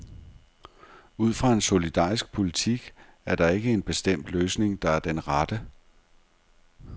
Ud fra en solidarisk politik er der ikke en bestemt løsning, der er den rette.